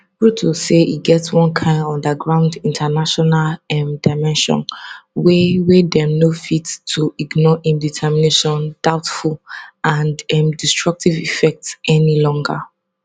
ruto say e get one kain underground international um dimension wey wey dem no fit to ignore im determination doubtful and um destructive effects any longer